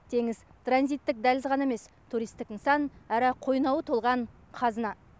теңіз транзиттік дәліз ғана емес туристік нысан әрі қойнауы толған қазына